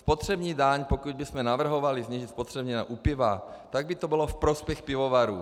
Spotřební daň, pokud bychom navrhovali změnit spotřební daň u piva, tak by to bylo ve prospěch pivovarů.